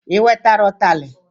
I wetara utali?